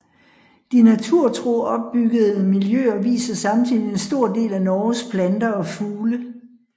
De naturtro opbyggede miljøer viser samtidig en stor del af Norges planter og fugle